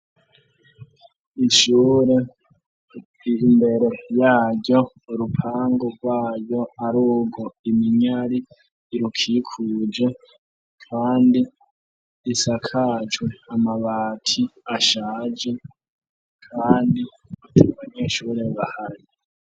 Ishure imbere yaryo urupango rwayo arugwo iminyari irukikuje kandi risakajwe amabati ashaje kandi atabanyeshure bahari.